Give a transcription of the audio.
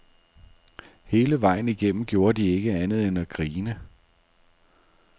Hele vejen igennem gjorde de ikke andet end at grine.